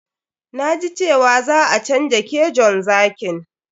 Na ji cewa za a canja kejon zakin.